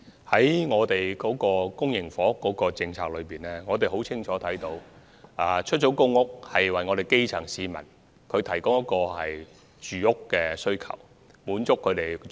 政府公營房屋政策的目的很清晰，就是提供出租公屋以滿足基層市民的住屋需要。